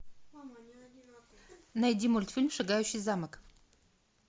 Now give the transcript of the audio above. найди мультфильм шагающий замок